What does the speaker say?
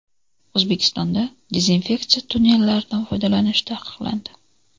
O‘zbekistonda dezinfeksiya tunnellaridan foydalanish taqiqlandi.